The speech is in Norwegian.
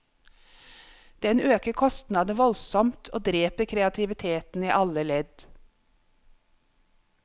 Den øker kostnadene voldsomt og dreper kreativiteten i alle ledd.